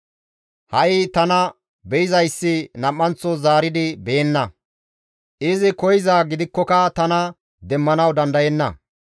Ha7i tana be7izayssi nam7anththo zaaridi beyenna; izi koyzaa gidikkoka tana demmanawu dandayenna.